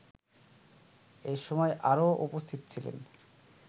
এসময় আরও উপস্থিত ছিলেন